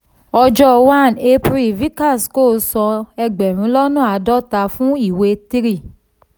ọjọ́ one april vikas co san ẹgbẹ̀rún lọ́nà àádọ́ta fun iwe three.